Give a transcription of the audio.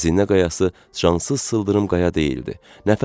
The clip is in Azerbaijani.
Xəzinə qayası cansız sıldırım qaya deyildi.